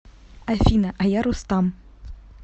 афина а я рустам